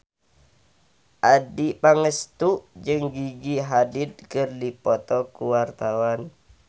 Adjie Pangestu jeung Gigi Hadid keur dipoto ku wartawan